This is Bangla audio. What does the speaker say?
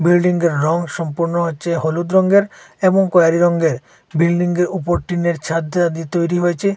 বিল্ডিংয়ের রং সম্পূর্ণ হচ্ছে হলুদ রঙের এবং কয়রি রংয়ের বিল্ডিংয়ের উপর টিনের ছাদ দেওয়া দিয়ে তৈরি হয়ছে।